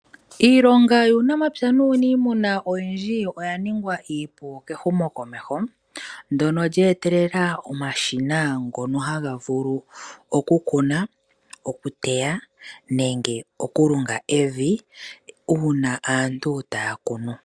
Iilonga yuunapya nuunimuna oyindji oya ningwa iipu kehumokomeho ndono lye etelela omashina ngono haga vulu okukuna ,okuteya nenge oku lunga evi uuna aantu taya kunu.